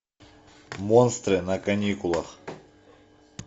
монстры на каникулах